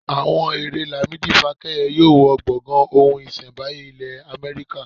Àwọn èrè Lamidi fákẹ́yẹ yóò wọ gbọ̀gàn ohun iṣẹ́mbáyé ilẹ̀ Amẹ́ríkà.